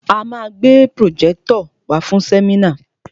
A ma gbé pròjẹ́tọ̀ wàá fún sẹ́mínà.